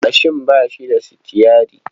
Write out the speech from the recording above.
Mashin ba shi da sitiyyari.